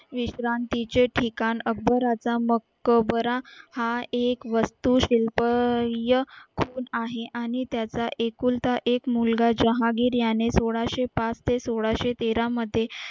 विश्रांतीचे ठिकाण अकबराचा मकबरा हा एक वस्तू शिल्पय आहे आणि त्याचा एकुलता एक मुलगा जहागीर याने सोळाशे पाच ते सोळाशे तेरामध्ये